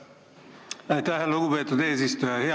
Aitäh, lugupeetud eesistuja!